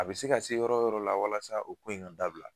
A bɛ se ka se yɔrɔ o yɔrɔ la walasa u ko in ka dabila